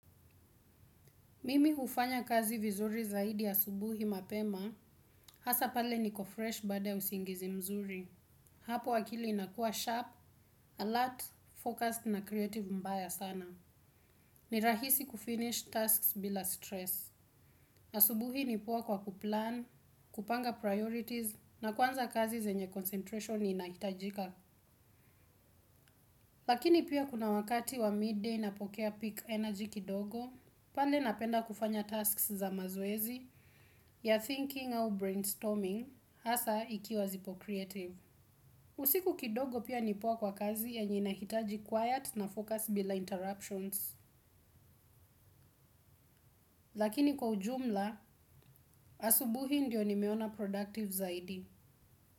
Mimi hufanya kazi vizuri zaidi asubuhi mapema hasa pale niko fresh baada ya usingizi mzuri. Hapo akili inakua sharp, alert, focused na creative mbaya sana. Ni rahisi kufinish tasks bila stress. Na asubuhi ni poa kwa kuplan, kupanga priorities, na kwanza kazi zenye concentration inahitajika. Lakini pia kuna wakati wa midday inapokea peak energy kidogo, pande napenda kufanya tasks za mazoezi ya thinking au brainstorming hasa ikiwa zipo creative. Usiku kidogo pia ni poa kwa kazi yenye inahitaji quiet na focus bila interruptions. Lakini kwa ujumla, asubuhi ndio nimeona productive zaidi.